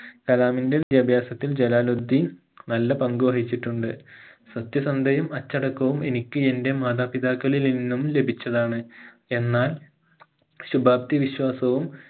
കലാമിന്റെ വിദ്യാഭാസത്തിൽ ജലാലുദ്ധീൻ നല്ല പങ്ക് വഹിച്ചിട്ടുണ്ട് സത്യസന്ധയും അച്ചടക്കവും എനിക്ക് എന്റെ മാതാപിതാക്കളിൽ നിന്നും ലഭിച്ചതാണ് എന്നാൽ ശുപാപ്തി വിശ്വാസവും